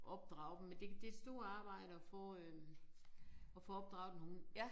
Opdrage dem men det det et stort arbejde at få øh at få opdraget en hund